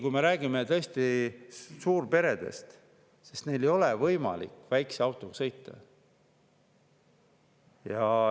Kui me räägime suurperedest, siis neil tõesti ei ole võimalik väikese autoga sõita.